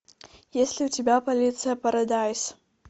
есть ли у тебя полиция парадайз